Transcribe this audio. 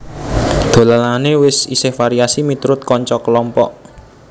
Dolanane isih variasi miturut kanca kelompok